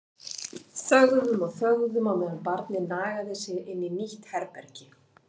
Þögðum og þögðum á meðan barnið nagaði sig inn í nýtt herbergi.